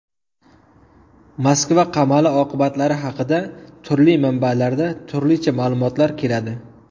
Moskva qamali oqibatlari haqida turli manbalarda turlicha ma’lumotlar keladi.